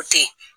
O tɛ